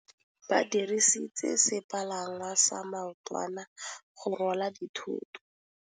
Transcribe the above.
Ba dirisitse sepalangwasa maotwana go rwala dithôtô.